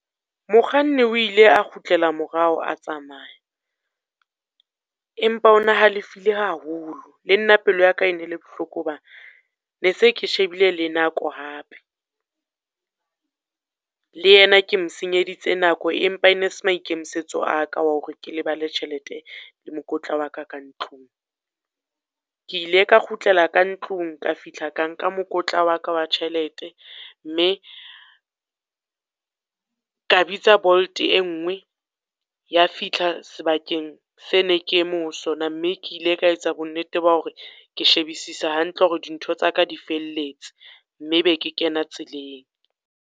Mokganni o ile a kgutlela morao a tsamaya, empa o na halefile haholo. Le nna pelo ya ka e ne le bohloko hoba ne se ke shebile le nako hape. Le yena ke mo senyeditse nako empa e ne se maikemisetso a ka wa hore ke lebale tjhelete le mokotla wa ka ka ntlong. Ke ile ka kgutlela ka ntlong, ka fihla ka nka mokotla wa ka wa tjhelete, mme ka bitsa Bolt e nngwe ya fihla sebakeng se ne ke eme ho sona. Mme ke ile ka etsa bonnete ba hore ke shebisisa hantle hore dintho tsa ka di felletse. Mme be ke kena tseleng.